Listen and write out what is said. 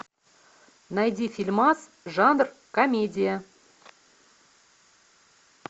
найди фильмас жанр комедия